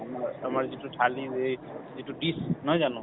আমাৰ যিতো থালি যিতো dish নহয় জানো